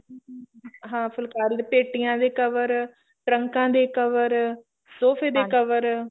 ਹਾਂ ਫੁਲਕਾਰੀ ਦੇ ਪੇਟੀਆ ਦੇ cover ਟਰੰਕਾ ਦੇ cover ਸੋਫੇ ਦੇ cover